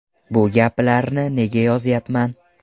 Bu gaplarni nega yozyapman?